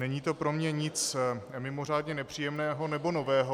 Není to pro mě nic mimořádně nepříjemného nebo nového.